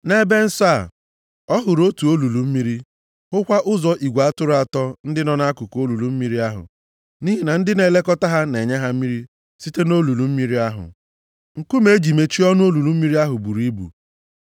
NʼEbe Nsọ a, ọ hụrụ otu olulu mmiri, hụkwa ụzọ igwe atụrụ atọ ndị nọ nʼakụkụ olulu mmiri nʼihi na ndị na-elekọta ha na-enye ha mmiri site nʼolulu mmiri ahụ. Nkume e ji mechie ọnụ olulu mmiri ahụ buru ibu.